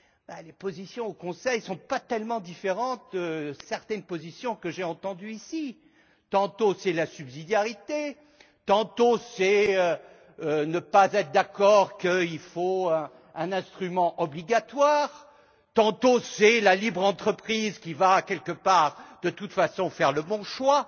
Elles ne sont pas tellement différentes de certaines positions que j'ai entendues ici. Tantôt c'est la subsidiarité, tantôt c'est ne pas être d'accord qu'il faut un instrument obligatoire, tantôt c'est la libre entreprise qui va, quelque part, de toute façon, faire le bon choix.